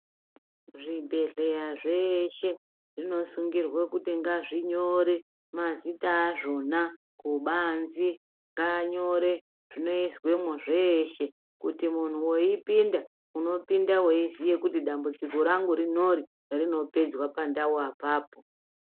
Zvibhedhleya zveshe zvinosungirwa kuti ngazvinyore mazita azvona kubanzi. Ngaanyore zvinoizwemwo zveeshe kuti muntu weipinda unopinda weiziya kuti dambudziko rangu rinori rinopedzwa pandau apapo.